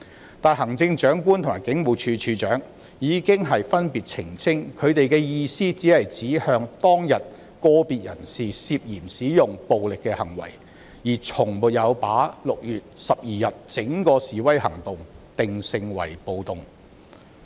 然而，行政長官及警務處處長已經分別澄清，他們的意思只是指向當天個別人士涉嫌使用暴力的行為，而從沒有把6月12日整個示威行動定性為"暴動"。